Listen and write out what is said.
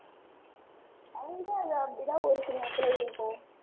ஒரு சில இடத்துல இருக்கும்.